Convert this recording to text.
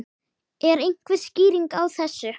Er einhver skýring á þessu?